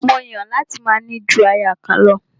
Mó Yàn láti máa ní ju aya kan lọ.